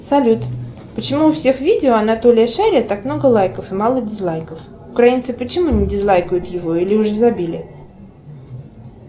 салют почему у всех видео анатолия шария так много лайков и мало дизлайков украинцы почему не дизлайкают его или уже забили